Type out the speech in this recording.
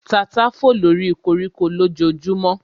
Tata fò lóri koríko lójojúmọ́